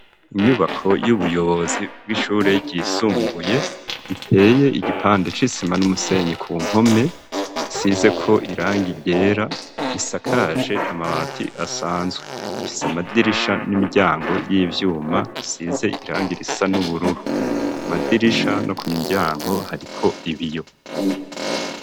Inyubako y'ubuyobozi bw'ishurerisumbuye iteye igipande c'isima n'umusenyi ku mpome size ko iranga igera isakaje amabati asanzwe fisa amadirisha n'imiryango y'ivyuma size iranga irisa n'ubururu ku madirisha no ku miryango hariko ibiyo.